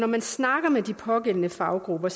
man snakker med de pågældende faggrupper